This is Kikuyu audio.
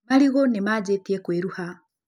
Marigũ nĩ manjĩtie kũĩruha